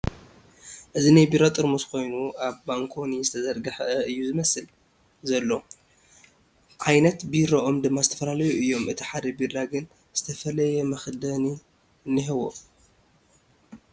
እዚ ናይ ቢራ ጠራሙስ ኮይኑ ኣብ ባንኮኒ ዝተዘርገሓ እዩ ዝመስል ዘሎ ዓይነት ቢሩኦም ድማ ዝተፈላለዩ እዮም እቲ ሓደ ቢራ ግን ዝተፈለየ መኽደኒ እኒሄዎ ።